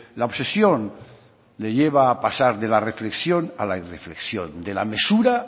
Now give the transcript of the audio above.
la obsesión le lleva a pasar de la reflexión a la irreflexión de la mesura